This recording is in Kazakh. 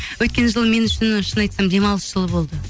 өткен жыл мен үшін шын айтсам демалыс жылы болды